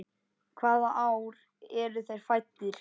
Hvaða ár eru þeir fæddir?